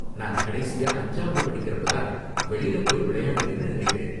நான் கடைசியா அஞ்சாவது படிக்குறப்ப தான் வெளில போய் விளையாடுனேன்னு நினைக்கிறேன்.